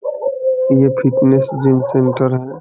ये fitness gym centre है।